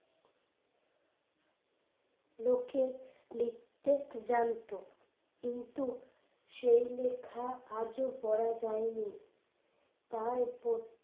লোকে লিখতে জানতো কিন্তু সেই লেখা আজও পড়া যায়নি। তাই